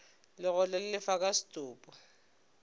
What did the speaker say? legotlo le lefa ka setopo